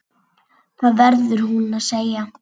Það verður hún að segja.